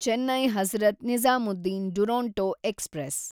Chennai Hazrat Nizamuddin Duronto express